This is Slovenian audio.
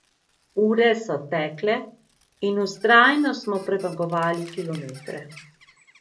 Ure so tekle in vztrajno smo premagovali kilometre.